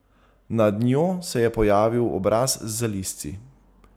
Nad njo se je pojavil obraz z zalizci.